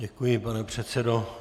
Děkuji, pane předsedo.